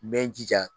N bɛ n jija